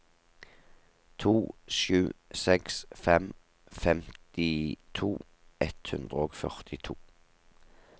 to sju seks fem femtito ett hundre og førtito